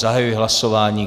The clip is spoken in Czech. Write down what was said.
Zahajuji hlasování.